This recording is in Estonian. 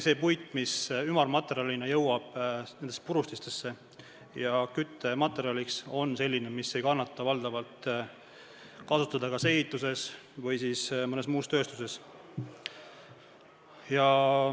See puit, mis ümarmaterjalina jõuab purustitesse ja läheb küttematerjaliks, on selline, mida valdavalt ei kannata kasutada kas ehituses või mõnes tööstusharus.